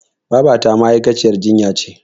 Babata ma'aikaciyar jinya ce.